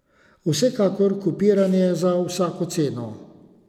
Vsekakor kopiranje za vsako ceno.